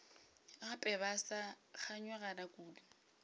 gape ba sa kganyogana kudu